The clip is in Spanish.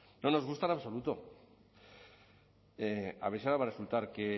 no nos gusta en absoluto a ver si va a resultar que